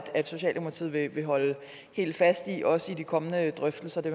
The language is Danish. socialdemokratiet vil holde fast i også i de kommende drøftelser det